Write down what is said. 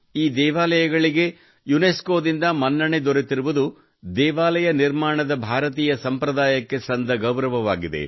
ಈ ದೇವಾಲಯಗಳಿಗೆ ಯುನೆಸ್ಕೊದಿಂದ ಮನ್ನಣೆ ದೊರೆತಿರುವುದು ದೇವಾಲಯ ನಿರ್ಮಾಣದ ಭಾರತೀಯ ಸಂಪ್ರದಾಯಕ್ಕೆ ಸಂದ ಗೌರವವಾಗಿದೆ